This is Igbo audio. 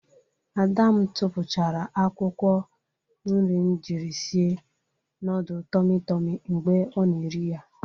Ada m tupuchara akwukwo nri m jiri sie nudul tomi tomi mgbe ọ na-eri ya.